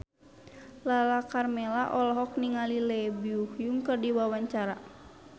Lala Karmela olohok ningali Lee Byung Hun keur diwawancara